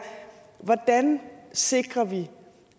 hvordan sikrer vi